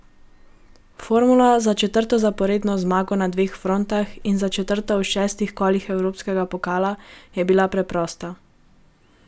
Formula za četrto zaporedno zmago na dveh frontah in za četrto v šestih kolih evropskega pokala je bila preprosta.